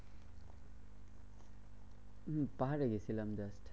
হম পাহাড়ে গেছিলাম just.